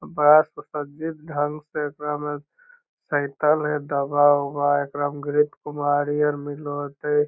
बड़ा सुसज्जित ढंग से एकरा मे --